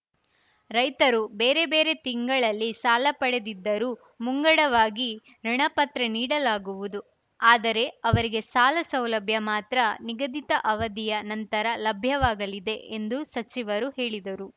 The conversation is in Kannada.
ರೈತರು ಬೇರೆ ಬೇರೆ ತಿಂಗಳಲ್ಲಿ ಸಾಲ ಪಡೆದಿದ್ದರೂ ಮುಂಗಡವಾಗಿ ಋುಣಪತ್ರ ನೀಡಲಾಗುವುದು ಆದರೆ ಅವರಿಗೆ ಸಾಲ ಸೌಲಭ್ಯ ಮಾತ್ರ ನಿಗದಿತ ಅವಧಿಯ ನಂತರ ಲಭ್ಯವಾಗಲಿದೆ ಎಂದು ಸಚಿವರು ಹೇಳಿದರು